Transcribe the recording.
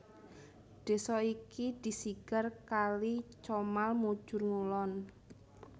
Desa iki disigar kali Comal mujur ngulon